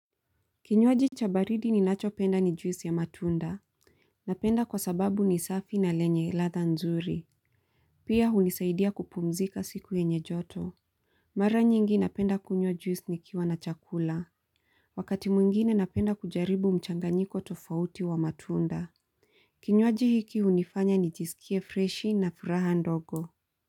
Kinyuaji cha baridi ninachopenda ni juice ya matunda. Napenda kwa sababu ni safi na lenye ladha nzuri. Pia hunisaidia kupumzika siku yenye joto. Mara nyingi napenda kunywa juice nikiwa na chakula. Wakati mwingine napenda kujaribu mchanganyiko tofauti wa matunda. Kinyuaji hiki unifanya nijisikie freshi na furaha ndogo.